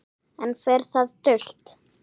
Enn fer það dult